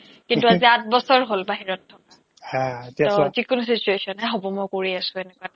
কিন্তু আজি আঠ বছৰ হ'ল বাহিৰত থকা ত' যিকোনো situation য়েই হ'ব মই কৰি আছো এনেকুৱা